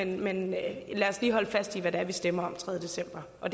men lad os lige holde fast i hvad det er vi stemmer om den tredje december og